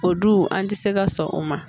O du an ti se ka sɔn o ma